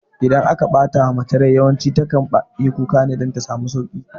Idan aka ɓatawa mace rai yawanci tana yin kuka ne dan ta samu sauƙi